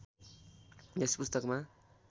यस पुस्तकमा